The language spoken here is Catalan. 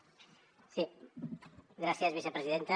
gràcies vicepresidenta